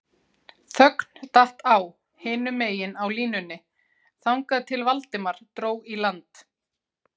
Þögn datt á hinum megin á línunni þangað til Valdimar dró í land